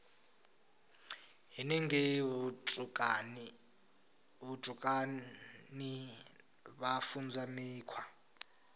henengei vhutukani vha funzwa mikhwa